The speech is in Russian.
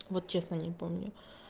вот честно не помню